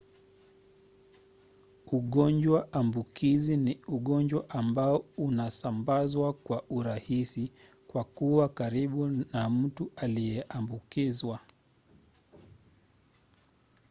ugonjwa ambukizi ni ugonjwa ambao unasambazwa kwa urahisi kwa kuwa karibu na mtu aliyeambukizwa